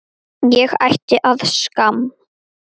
Ég ætti að skamm